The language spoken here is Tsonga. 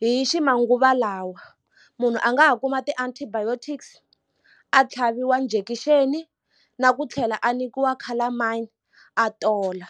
hi ximanguva lawa munhu a nga ha kuma ti-antibiotics a tlhaviwa njekixeni na ku tlhela a nyikiwa colormine a tola.